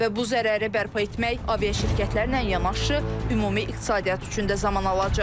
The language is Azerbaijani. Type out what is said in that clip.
Və bu zərəri bərpa etmək aviaşirkətlərlə yanaşı, ümumi iqtisadiyyat üçün də zaman alacaq.